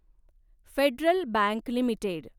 federal Bank limited